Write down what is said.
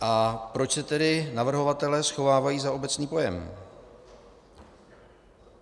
A proč se tedy navrhovatelé schovávají za obecný pojem?